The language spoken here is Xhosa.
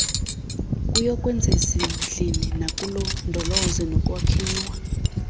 kuyokwezezindli nakulondolozo nokwakhiwa